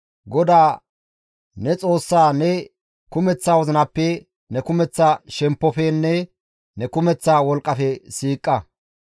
GODAA ne Xoossaa ne kumeththa wozinappe, ne kumeththa shemppofenne ne kumeththa wolqqafe siiqa.